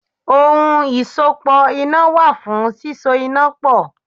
Ohun ìsopọ̀ iná wà fún síso iná pọ̀.